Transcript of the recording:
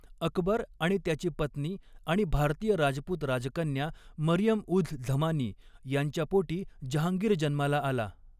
अकबर आणि त्याची पत्नी आणि भारतीय राजपूत राजकन्या मरियम उझ झमानी यांच्या पोटी जहांगीर जन्माला आला.